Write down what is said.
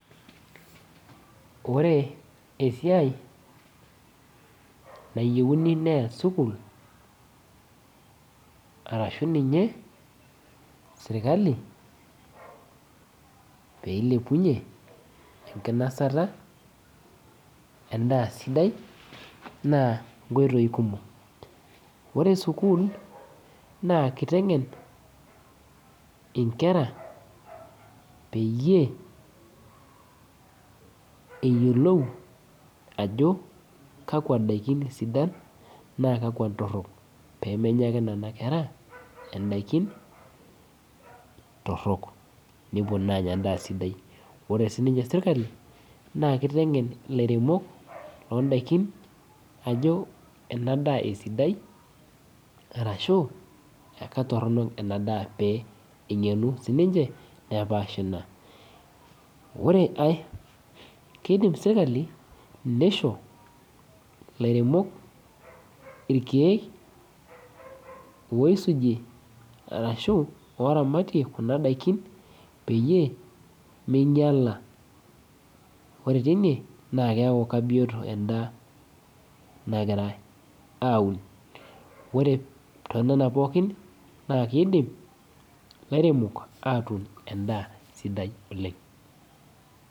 Ore esiai nayieuni neas sukuul arashu ninye sirkali peilepunyie enkinasata endaa sidai naa nkoitoi kumok ore sukuul naa kiteng'en inkera peyie eyiolou ajo kakwa daikin isidan naa kakwa intorrok pemenya ake nena kera endaikin torrok nepuo naa anya endaa sidai ore sininye sirkali naa kiteng'en ilairemok londaikin ajo ena daa esidai arashu ekatorronok ena daa pee eng'enu sininche nepash ina ore ae kidim sirkali nisho lairemok irkeek oisujie arashu oramatie kuna daikin peyie meinyiala ore teine naa keeku kabioto endaa nagirae aun ore tonena pookin naa kiidim lairemok atuun endaa sidai oleng.